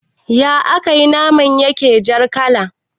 Ya akai naman yake jar kala